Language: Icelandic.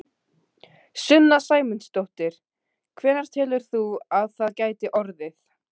Sunna Sæmundsdóttir: Hvenær telur þú að það geti orðið?